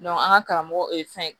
an ka karamɔgɔ ye fɛn ye